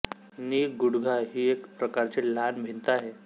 नी गुडघा ही एक प्रकारची लहान भिंत आहे